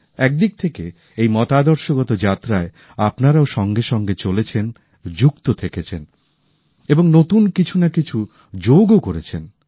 এক দিক থেকে এই মতাদর্শগত যাত্রায় আপনারাও সঙ্গে সঙ্গে চলেছেন যুক্ত থেকেছেন এবং নতুন কিছু না কিছু যোগও করেছেন